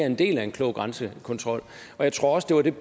en del af en klog grænsekontrol jeg tror også det var det